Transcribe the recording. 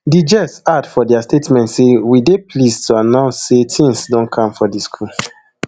di ges add for dia statement say we dey pleased to announce say tins don calm for di school